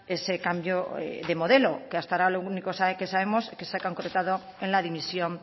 ese cambio de modelo que hasta ahora lo único que sabemos es que se ha concretado en la dimisión